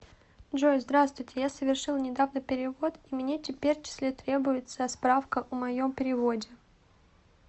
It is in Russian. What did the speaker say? джой здравствуйте я совершила недавно перевод и мне теперь числе требуется а справка у моем переводе